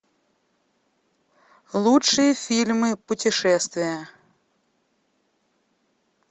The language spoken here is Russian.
лучшие фильмы путешествия